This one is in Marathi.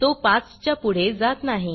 तो 5 च्या पुढे जात नाही